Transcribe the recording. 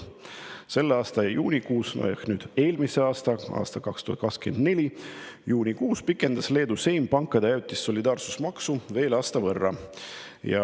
2024. aasta juunikuus pikendas Leedu Seim pankade ajutise solidaarsusmaksu veel aasta võrra.